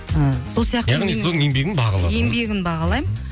ыыы сол сияқты яғни сіз оның еңбегін бағаладыңыз еңбегін бағалаймын